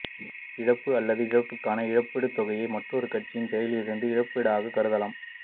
இழப்பு அல்லது இழப்பிற்கான இழப்பீட்டுத் தொகையை மற்றொரு கட்சியின் செயல்களிலிருந்து இழப்பீடாகக் கருதலாம்